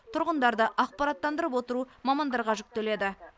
тұрғындарды ақпараттандырып отыру мамандарға жүктеледі